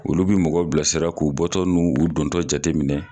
Olu bi mɔgɔ bilasira k'u bɔtɔ n'u dontɔ jateminɛ.